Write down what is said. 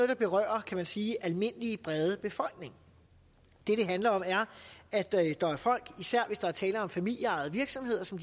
der berører kan man sige den almindelige brede befolkning det det handler om er at der er folk især hvis der er tale om familieejede virksomheder som